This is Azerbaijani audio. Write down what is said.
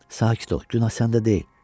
Sakit ol, günah səndə deyil.